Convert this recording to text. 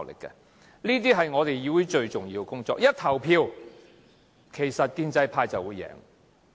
這些都是議會最重要的工作，到了投票時，其實建制派便會贏。